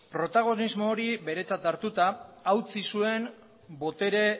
protagonismo hori beretzat hartuta hautsi zuen botere